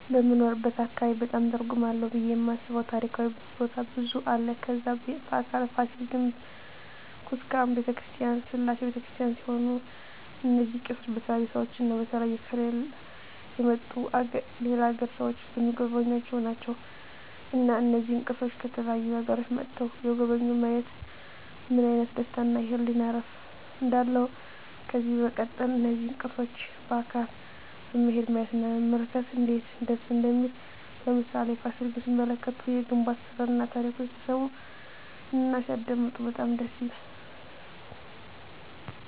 በምንኖርበት አካባቢ በጣም ትርጉም አለው ብየ የማስበው ታሪካዊ ቦታ ብዙ አለ ከዛ በአካል ፋሲል ግንብ ኩስካም በተክርስቲያን ስላሴ በተክርስቲያን ሲሆኑ እነዚ ቅርሶች በተለያዩ ሰዎች እና በተለያዩ ከሌላ የመጡ የሌላ አገር ሰዎች ሚጎበኙአቸው ናቸው እና እነዚህን ቅርሶች ከተለያዩ አገሮች መጥተዉ የጎበኙ ማየት ምን አይነት ደስታ እና የህሊና እርፍ እንዳለው ከዚህ በመቀጠል እነዚህን ቅርሶች በአካል በመሄድ ማየት እና መመልከት እነዴት ደስ እንደሚል ለምሳሌ ፋሲል ግንብ ሲመለከቱ የግንብ አሰራሩን ታሪኩን ሲሰሙ እና ሲያደመጡ በጣም ደስ ይላል